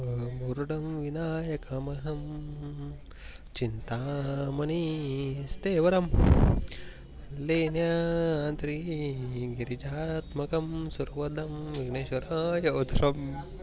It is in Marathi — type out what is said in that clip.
मुरडम विनयेक कम हम हम्म चिंता मनी स्तेवर्म नेन्यात्री गिर्जास मकम सूर वधम भूनेस्वराये अधर्म